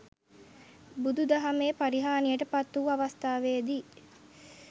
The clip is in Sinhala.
බුදු දහමේ පරිහානියට පත් වූ අවස්ථාවේදී